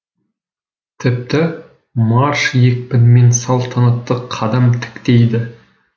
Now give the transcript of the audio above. тіпті марш екпінімен салтанатты қадам тіктейді